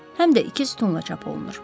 Həm də iki sütunla çap olunur.